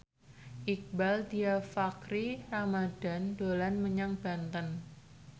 Iqbaal Dhiafakhri Ramadhan dolan menyang Banten